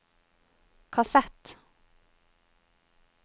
kassett